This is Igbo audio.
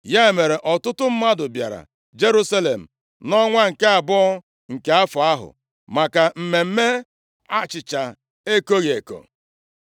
Ya mere, ọtụtụ mmadụ bịara Jerusalem nʼọnwa nke abụọ nke afọ ahụ, maka mmemme achịcha ekoghị eko.